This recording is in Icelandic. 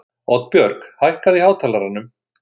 Oddbjörg, hækkaðu í hátalaranum.